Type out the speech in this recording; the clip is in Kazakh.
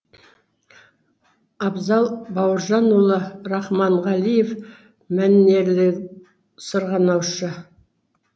абзал бауыржанұлы рахманғалиев мәнерлеп сырғанаушы